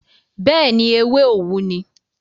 bẹ́ẹ̀ni, ewé òwú ni.